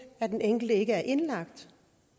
at den enkelte ikke er indlagt